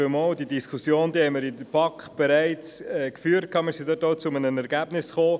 der BaK. Diese Diskussion haben wir in der BaK bereits geführt und sind zu einem Ergebnis gekommen.